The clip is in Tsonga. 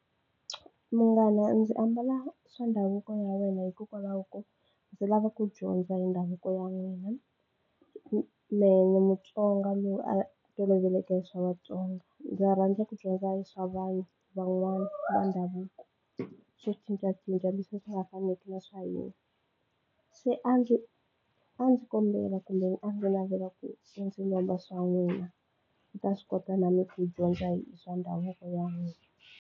Munghana ndzi ambala swa ndhavuko ya wena hikokwalaho ko ndzi lava ku dyondza hi ndhavuko ya wena mehe ni Mutsonga lowu a toloveleke swa Vatsonga ndza rhandza ku dyondza swa vanhu van'wani va ndhavuko swo cincacinca leswi swi nga faneki na swa hina se a ndzi a ndzi kombela kumbe a ndzi navela ku u ndzi lomba swa n'wina ni ta swi kota na me ku dyondza hi swa ndhavuko ya n'wina.